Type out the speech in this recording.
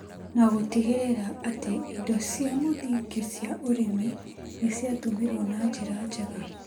na gũtigĩrĩra atĩ indo cia mũthingi cia ũrĩmi nĩ ciatũmĩrwo na njĩra njega.